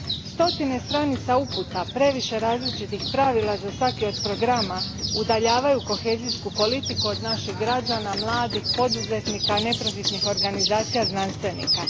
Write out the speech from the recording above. Stotine stranica uputa, previše različitih pravila za svaki od programa udaljavaju kohezijsku politiku od naših građana, mladih, poduzetnika, neprofitnih organizacija, znanstvenika.